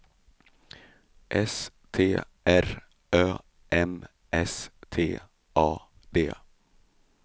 S T R Ö M S T A D